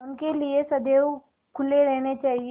उनके लिए सदैव खुले रहने चाहिए